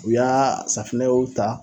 U y'a safinɛw ta